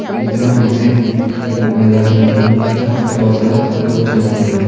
ये चित्र मा हम त एक बड़ू मैदान छ दिखेणु जख हम त बहोत सारा लोग छीन दिखेणा।